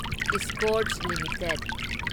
Escorts limited